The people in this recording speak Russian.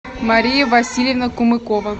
мария васильевна кумыкова